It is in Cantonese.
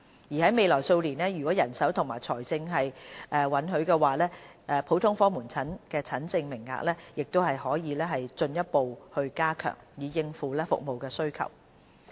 而在未來數年，如果人手和財政允許的話，普通科門診診症名額的增幅亦可進一步加強，以應付服務需求。